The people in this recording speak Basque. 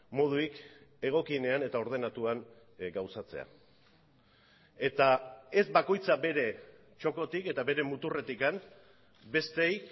modurik egokienean eta ordenatuan gauzatzea eta ez bakoitza bere txokotik eta bere muturretik besteei